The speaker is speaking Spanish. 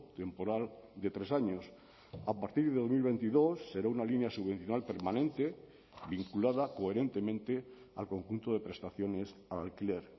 temporal de tres años a partir de dos mil veintidós será una línea subvencional permanente vinculada coherentemente al conjunto de prestaciones al alquiler